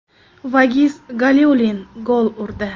Vagiz Galiulin gol urdi.